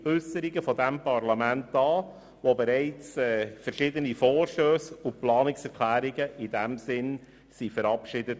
Es wurden bereits verschiedene Vorstösse und Planungserklärungen in diesem Sinne verabschiedet.